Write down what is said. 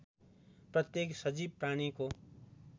प्रत्येक सजीव प्राणीको